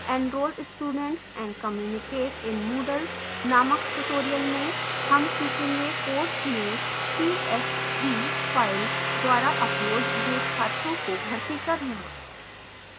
enroll students and communicate in moodle named tutorial में हम सीखेंगे: course में csv file द्वारा अपलोड हुए छात्रों को भरती करना